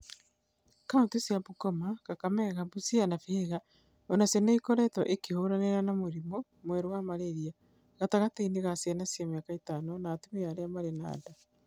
Kaunti cia Bungoma, Kakamega, Busia na Vihiga o nacio nĩ ikoretwo ikĩhiũrania na mũrimũ mwerũ wa malaria gatagatĩ ka ciana cia mĩaka ĩtano na atumia arĩa marĩ na nda.